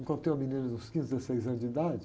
Encontrei uma menina de uns quinze, dezesseis anos de idade.